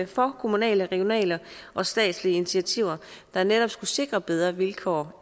for kommunale regionale og statslige initiativer der netop skulle sikre bedre vilkår